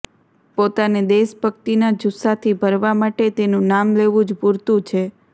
પોતાને દેશભક્તિના જુસ્સાથી ભરવા માટે તેનું નામ લેવું જ પૂરતું છે